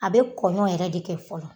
A bɛ kɔɲɔn yɛrɛ de kɛ fɔlɔ.